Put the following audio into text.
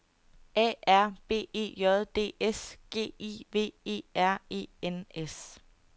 A R B E J D S G I V E R E N S